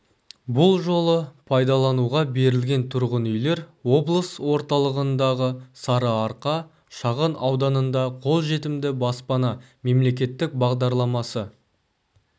бұл жолы пайдалануға берілген тұрғын үйлер облыс орталығындағы сарыарқа шағын ауданында қолжетімді баспана мемлекеттік бағдарламасы